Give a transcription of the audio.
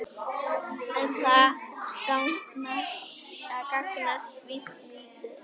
En það gagnast víst lítið.